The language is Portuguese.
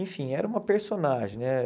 Enfim, era uma personagem, né?